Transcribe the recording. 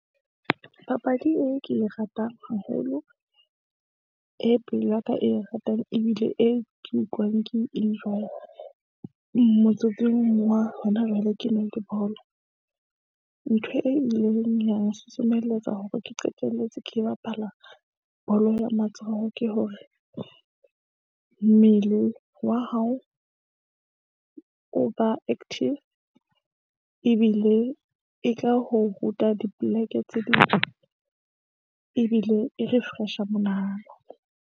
Papadi e ke e ratang haholo, e pelo ya ka e e ratang ebile e ke utlwang ke enjoy-a. Motsotsong wa hona jwale, ke na le bolo. Ntho e ileng ya nsusumeletsa hore ke qeteletse ke bapala bolo ya matsoho. Ke hore mmele wa hao o ba active ebile e ka ho ruta dipoleke tse ebile e refresh-a monahano.